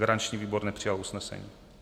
Garanční výbor nepřijal usnesení.